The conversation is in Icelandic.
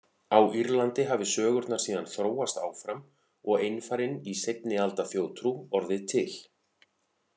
Á Írlandi hafi sögurnar síðan þróast áfram og einfarinn í seinni alda þjóðtrú orðið til.